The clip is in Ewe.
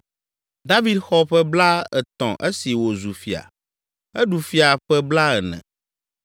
David xɔ ƒe blaetɔ̃ esi wòzu fia. Eɖu fia ƒe blaene.